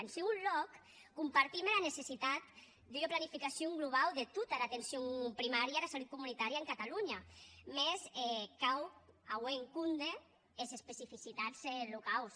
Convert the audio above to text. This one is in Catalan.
en dusau lòc compartim era necessitat d’ua planificacion globau de tota era atencion primària e era salut comunitària en catalonha mès cau auer en compde es especificitats locaus